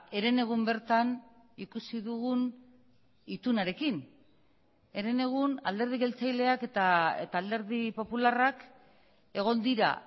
herenegun bertan ikusi dugun itunarekin herenegun alderdi jeltzaleak eta alderdi popularrak egon dira